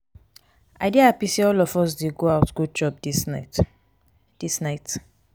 i dey happy say all of us dey go out go chop dis night. dis night.